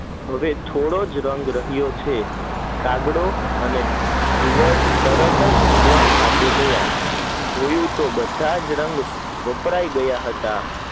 એ થોડો રંગ રહ્યો છે કાગડો અને ઘુવડ તરત કે ભગવાન પાસે ગયા જોઉં તો બધા રંગ વપરાય ગયા હતા